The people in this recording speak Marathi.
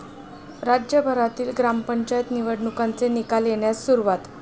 राज्यभरातील ग्रामपंचायत निवडणुकांचे निकाल येण्यास सुरूवात